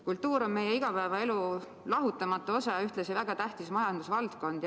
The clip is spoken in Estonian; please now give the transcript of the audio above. Kultuur on meie igapäevaelu lahutamatu osa ja ühtlasi väga tähtis majandusvaldkond.